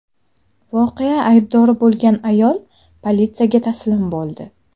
Voqea aybdori bo‘lgan ayol politsiyaga taslim bo‘ldi.